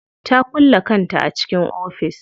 Ta kulle kanta a cikin ofis.